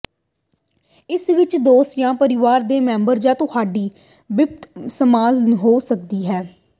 ਇਸ ਵਿਚ ਦੋਸਤ ਜਾਂ ਪਰਿਵਾਰ ਦੇ ਮੈਂਬਰ ਜਾਂ ਤੁਹਾਡੇ ਬਿਸ਼ਪ ਸ਼ਾਮਲ ਹੋ ਸਕਦੇ ਹਨ